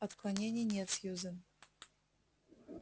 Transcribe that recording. отклонений нет сьюзен